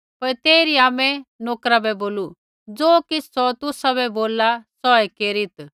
पर तेइरी आमै नोकरा बै बोलू ज़ो किछ़ सौ तुसाबै बोलला सौऐ केरीत्